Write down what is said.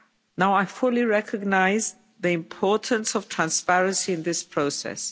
Now I fully recognise the importance of transparency in this process.